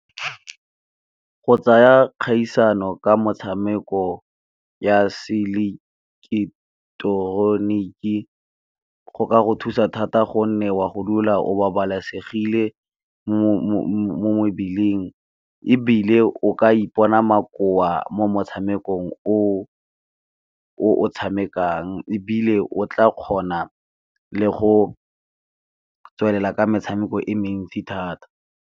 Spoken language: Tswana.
Go tsaya kgaisano ka motshameko ya seileketoroniki go ka go thusa thata gonne wa go dula o babalesegile mo , ebile o ka ipona makoa mo motshamekong o o tshamekang ebile o tla kgona le go tswelela ka metshameko e mentsi thata.